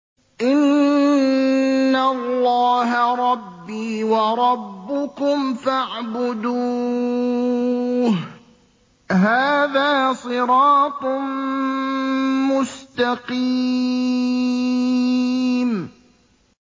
إِنَّ اللَّهَ رَبِّي وَرَبُّكُمْ فَاعْبُدُوهُ ۗ هَٰذَا صِرَاطٌ مُّسْتَقِيمٌ